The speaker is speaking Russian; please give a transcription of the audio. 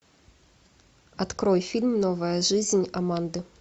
открой фильм новая жизнь аманды